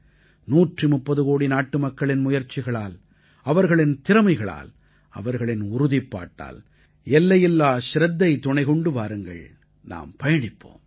130 கோடி நாட்டுமக்களின் முயற்சிகளால் அவர்களின் திறமைகளால் அவர்களின் உறுதிப்பாட்டால் எல்லையில்லா சிரத்தை துணை கொண்டு வாருங்கள் நாம் பயணிப்போம்